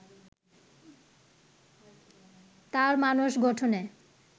তাঁর মানস গঠনে